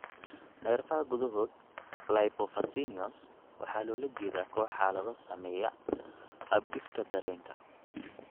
Nerfaha gudahod lipofuscinosis (NCL) waxaa loola jeedaa koox xaalado saameeya habdhiska dareenka.